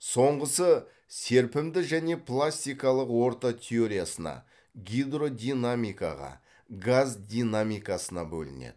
соңғысы серпімді және пластикалық орта теориясына гидродинамикаға газ динамикасына бөлінеді